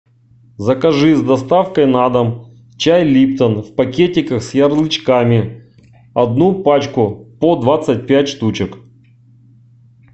закажи с доставкой на дом чай липтон в пакетиках с ярлычками одну пачку по двадцать пять штучек